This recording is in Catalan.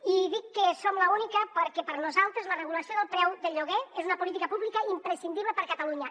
i dic que som l’única perquè per nosaltres la regulació del preu del lloguer és una política pública imprescindible per a catalunya